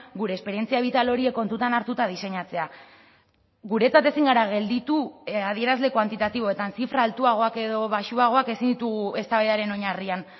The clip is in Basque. gure esperientzia bital horiek kontutan hartuta diseinatzea guretzat ezin gara gelditu adierazle kuantitatiboetan zifra altuagoak edo baxuagoak ezin ditugu eztabaidaren oinarrian